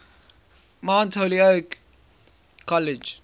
mount holyoke college